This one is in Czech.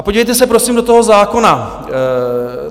A podívejte se, prosím, do toho zákona.